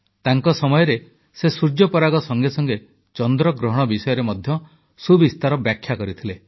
ତାଙ୍କ ସମୟରେ ସେ ସୂର୍ଯ୍ୟପରାଗ ସଙ୍ଗେ ସଙ୍ଗେ ଚନ୍ଦ୍ରଗ୍ରହଣ ବିଷୟରେ ମଧ୍ୟ ସୁବିସ୍ତୃତ ବ୍ୟାଖ୍ୟା କରିଥିଲେ